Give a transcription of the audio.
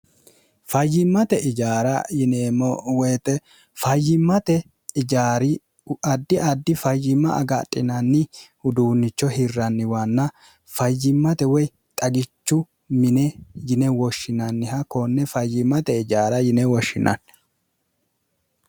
fayyimmate ijaara yinemmo woyite fayyimmate ijaari addi addi fayyimma agaxinanni uduunnicho hirranniwaanna fayyimmate woy xagichu mine yine woshshinanniha koonne fayyimmate ijaara yine woshshinanni